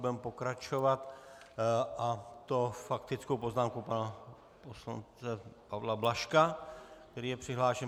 Budeme pokračovat, a to faktickou poznámkou pana poslance Pavla Blažka, který je přihlášen.